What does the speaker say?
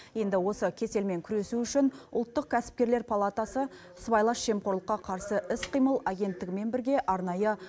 енді осы кеселмен күресу үшін ұлттық кәсіпкерлер палатасы сыбайлас жемқорлыққа қарсы іс қимыл агенттігімен бірге арнайы